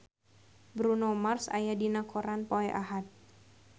Bruno Mars aya dina koran poe Ahad